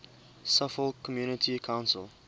suffolk community council